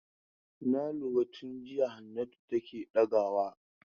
Na lura tun jiya Hannatu take ɗagawa.